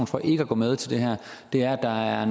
for ikke at gå med til det her er er